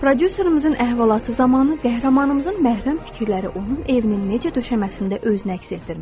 Prodüserimizin əhvalatı zamanı qəhrəmanımızın məhrəm fikirləri onun evinin necə döşəməsində öz nəks etdirmişdi.